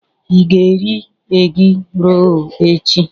Ị ga-eri egi-rol echi?